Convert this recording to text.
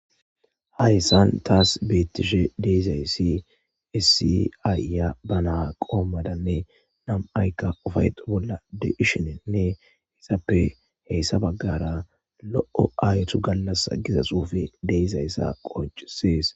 Hayissan tas betishshe di'izayissi issi ayiya baa na qomadanne nam'iyikka ufayeto bolla de'ishshenne izappe hessa baggara Lo'o ayetu galassa giza xufey de'izayssa qoncisses